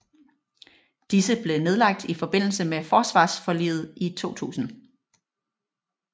Disse blev nedlagt i forbindelse med forsvarsforliget i 2000